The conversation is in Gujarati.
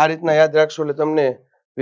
આ રીતના યાદ રાખશો એટલે તમને